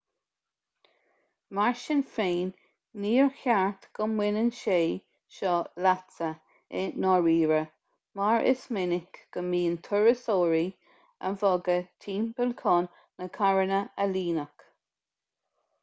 mar sin féin níor cheart go mbaineann sé seo leatsa i ndáiríre mar is minic go mbíonn turasóirí á bhogadh timpeall chun na carranna a líonadh